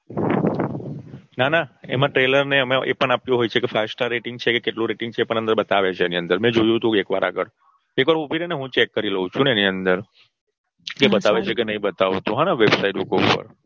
ના ના એમાં Trailer અને એ પણ આપ્યું હોય છે Five star rating છે કે કેટલું Rating છે પણ અંદર બતાવે છે એની અંદર મેં જોયું તું એક વાર આગળ. એકવાર ઉભી રે ને હું ચેક કરી લઉ છું ને એની અંદર કે બતાવે છે કે બતાવે છે કે નઈ બતાવતું હોને Website ઉપર